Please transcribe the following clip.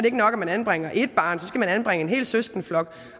ikke nok at man anbringer ét barn så skal man anbringe en hel søskendeflok